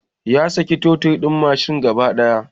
Ya saki totir din mashin gaba daya